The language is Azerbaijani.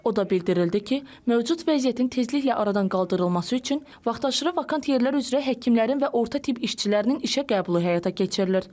O da bildirildi ki, mövcud vəziyyətin tezliklə aradan qaldırılması üçün vaxtaşırı vakant yerlər üzrə həkimlərin və orta tibb işçilərinin işə qəbulu həyata keçirilir.